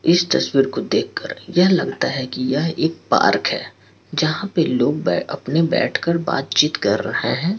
इस तस्वीर को देख कर यह लगता हैं कि यह एक पार्क हैं जहाँ पे लोग बै अपने बैठकर बातचीत कर रहे हैं।